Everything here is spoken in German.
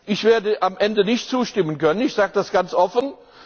Ich werde am Ende nicht zustimmen können, ich sage das ganz offen.